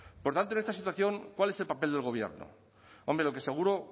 por tanto en esta situación cuál es el papel del gobierno hombre lo que seguro